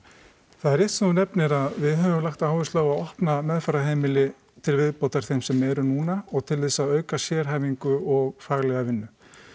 það er rétt sem þú nefnir að við höfum lagt áherslu á að opna meðferðarheimili til viðbótar þeim sem eru núna og til þess að auka sérhæfingu og faglega vinnu